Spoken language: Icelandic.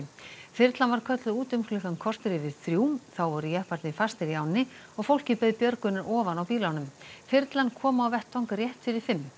þyrlan var kölluð út um klukkan korter yfir þrjú þá voru jepparnir fastir í ánni og fólkið beið björgunar ofan á bílunum þyrlan kom á vettvang rétt fyrir fimm